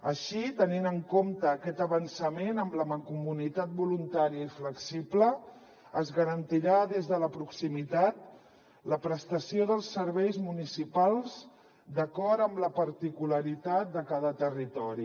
així tenint en compte aquest avançament en la mancomunitat voluntària i flexible es garantirà des de la proximitat la prestació dels serveis municipals d’acord amb la particularitat de cada territori